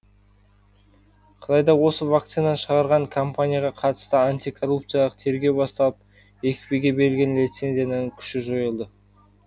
қытайда осы вакцинаны шығарған компанияға қатысты антикоррупциялық тергеу басталып екпеге берілген лицензияның күші жойылды